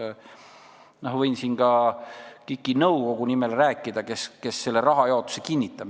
Ma arvan, et võin siin rääkida KIK-i nõukogu nimel, kes selle rahajaotuse kinnitab.